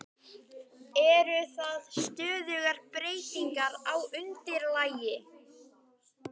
Eru það stöðugar breytingar á undirlagi?